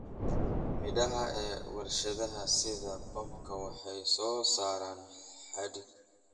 Midhaha ee warshadaha sida pamba waxay soo saaraan xadhig.